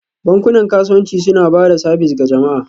Bankunan kasuwanci suna ba da sabis ga jama'a